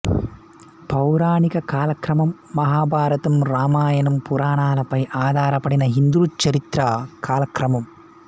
పౌరాణిక కాలక్రమం మహాభారతం రామాయణం పురాణాలపై ఆధారపడిన హిందూ చరిత్ర కాలక్రమం